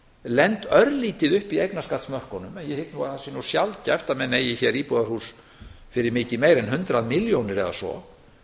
lent örlítið upp í eignarskattsmörkunum en ég hygg nú að það sé sjaldgæft að menn eigi hér íbúðarhús fyrir mikið meira en hundrað milljónir eða svo